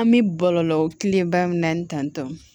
An bɛ bɔlɔlɔ kelen ba min na ni tantɔ